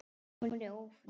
Hún er ÓFRÍSK!